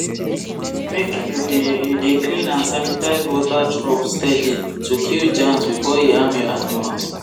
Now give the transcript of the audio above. make you dey you dey clean and sanitize water trough steady to kill germs before e harm your animals